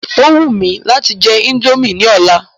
Ó wù mí láti jẹ indomie ní ọ̀la.